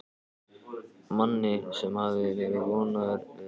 Manni sem hafði verið vondur við alla.